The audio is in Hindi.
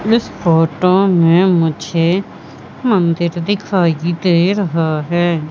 इस फोटो में मुझे मंदिर दिखाई दे रहा है।